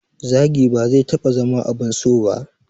Zagi ba zai taɓa zama abun so ba